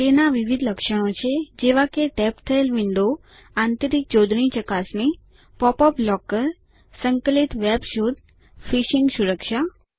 તેના વિવિધ લક્ષણો છે જેવા કે ટેબ થયેલ વિન્ડો આંતરિક જોડણી ચકાસણી પોપ અપ બ્લૉકર સંકલિત વેબ શોધ ફિશીંગ સુરક્ષા